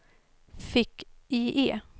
fick-IE